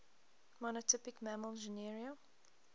monotypic mammal genera